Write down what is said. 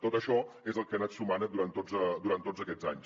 tot això és el que ha anat sumant durant tots aquests anys